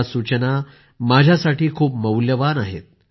या सूचना माझ्यासाठी खूप मौल्यवान आहेत